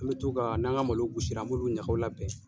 An bɛ to ka n'an ka malow gosira, an bɛ olu ɲaga labɛn